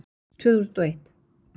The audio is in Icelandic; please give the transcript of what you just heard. Tvö þúsund og eitt